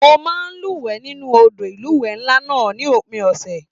Mo máa n luwẹ̀ nínú odò ilúwẹ nlá náà ní òpin ọsẹ.